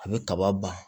A bɛ kaba ba